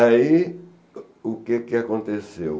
Aí, o que que aconteceu?